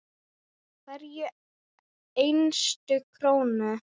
Hverja einustu krónu.